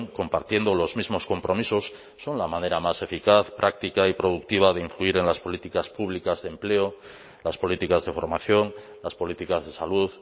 compartiendo los mismos compromisos son la manera más eficaz práctica y productiva de influir en las políticas públicas de empleo las políticas de formación las políticas de salud